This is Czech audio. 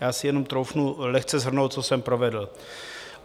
Já si jenom troufnu lehce shrnout, co jsem provedl.